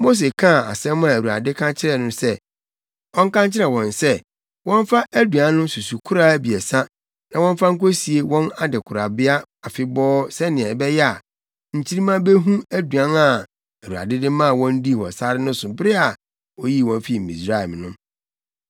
Mose kaa asɛm a Awurade ka kyerɛɛ no sɛ ɔnka nkyerɛ wɔn sɛ wɔmfa aduan no susukoraa abiɛsa na wɔmfa nkosie wɔn adekorabea afebɔɔ sɛnea ɛbɛyɛ a, nkyirimma behu aduan a Awurade de maa wɔn dii wɔ sare so bere a oyii wɔn fii Misraim no.